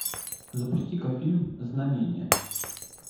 запусти ка фильм знамение